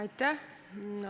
Aitäh!